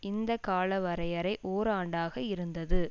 இந்த காலவரையறை ஓராண்டாக இருந்தது